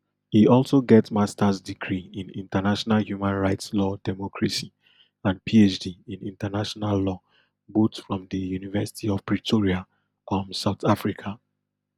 e also get masters degree in international human rights law democracy and phd in international law both from di university of pretoria um south africa